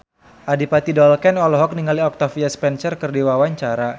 Adipati Dolken olohok ningali Octavia Spencer keur diwawancara